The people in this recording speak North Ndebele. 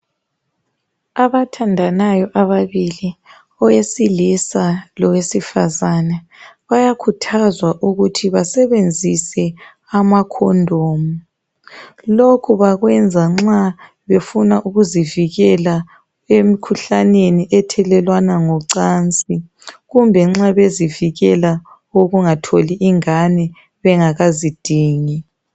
Abathandanayo ababili owesilisa lowesifazana bayakhuthazwa ukuthi basebenzise amacondom lokhu bakwenza nxa befuna ukuzivikela emkhuhlaneni ethelelwana ngocansi kumbe nxa bezivikela ukungatholi ingane bengakazidingi.